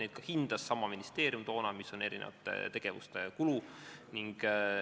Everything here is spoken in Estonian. Neid ka hindas toona sama ministeerium, et näha, mis on erinevate tegevuste kulu.